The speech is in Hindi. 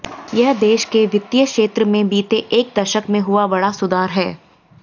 यह देश के वित्तीय क्षेत्र में बीते एक दशक में हुआ बड़ा सुधार है